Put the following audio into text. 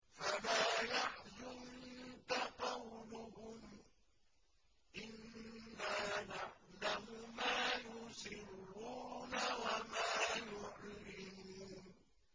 فَلَا يَحْزُنكَ قَوْلُهُمْ ۘ إِنَّا نَعْلَمُ مَا يُسِرُّونَ وَمَا يُعْلِنُونَ